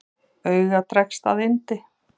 Auga dregst að yndi.